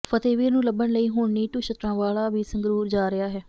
ਫਤਿਹਵੀਰ ਨੂੰ ਲੱਭਣ ਲਈ ਹੁਣ ਨੀਟੂ ਸ਼ਟਰਾਂਵਾਲਾ ਵੀ ਸੰਗਰੂਰ ਜਾ ਰਿਹਾ ਹੈ